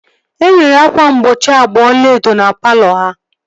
Enwere ákwà mgbochi agba ọlaedo na palọ ha